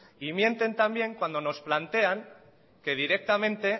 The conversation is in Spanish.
y mienten también cuando nos plantean que directamente